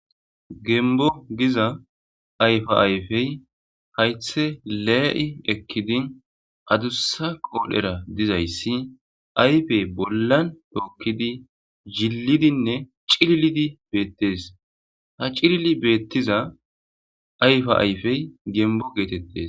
gembbo giza ayfa ayfey haythe lee'i ekkidin adussa qoodhera dizayssi aypey bollan tookkidi zhillidinne cil'ilidi beettees. Ha cilili beettiza ayfa ayfey gembo geetettes.